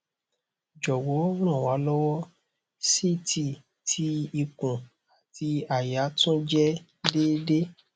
jọwọ ran wa lọwọ ct ti ikun ati àyà tun jẹ deede